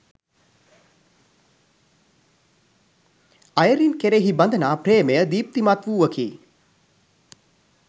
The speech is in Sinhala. අයිරින් කෙරෙහි බඳනා ප්‍රේමය දීප්තිමත් වූවකි.